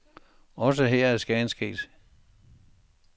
Også her er skaden sket.